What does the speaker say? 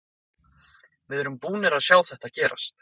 Við erum búnir að sjá þetta gerast.